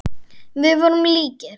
Við vorum líkir.